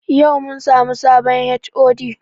Yau mun samu sabon HOD